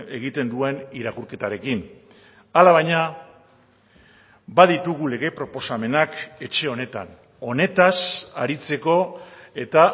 egiten duen irakurketarekin hala baina baditugu lege proposamenak etxe honetan honetaz aritzeko eta